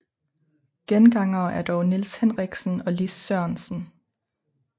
Gengangere er dog Nils Henriksen og Lis Sørensen